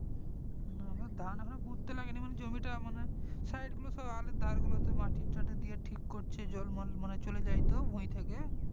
না আমাদের ধান এখন পুঁততে লাগেনি মানে জমিটা মানে side গুলো সব আলের ধার গুলো তে মাটি তাটি দিয়ে ঠিক করছে জল মল মানে চলে যাই তো ভুই থেকে